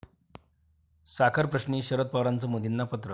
साखरप्रश्नी शरद पवारांचं मोदींना पत्र